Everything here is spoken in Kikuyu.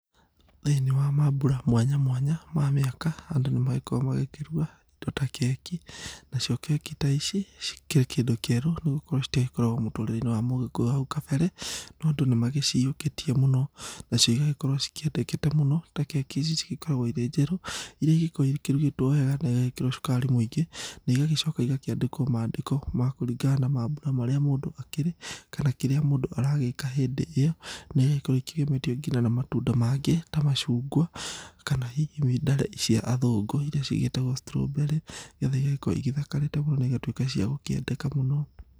Thĩini wa mambura mwanya mwanya ma mĩaka, andũ nĩmagĩkoragwo magĩkĩruga indo ta keki. Nacio keki ta ici cikĩrĩ kĩndũ kĩerũ, nĩgokorwo citiagĩkoragwo mũtũrĩreinĩ wa MũGĩkũyũ hau kabere. No andũ nĩmagĩciyũkĩtie mũno. Nacio igagĩkorwo cikĩendekete mũno ta keki ici cigĩkoragwo irĩ njerũ, iria igĩkoragwo ikĩrugĩtwo wega na igagĩkĩrwo cukari mũingĩ. Na igagĩcoka igakĩandĩkwo mandĩko ma kũringana na mambura marĩa mũndũ akĩrĩ, kana kĩrĩa mũndũ aragĩka hĩndĩ ĩo. Naigagĩkorwo ikĩgemetio nginya na matunda mangĩ ta macungwa, kana hihi ndare cia athũngũ iria cigĩtagwo strawberry igathi igagĩkorwo ithakarĩte mũno, na igatuĩka cia gũkĩendeka mũno.